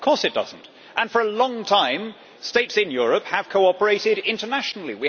Of course it does not and for a long time States in Europe have cooperated internationally.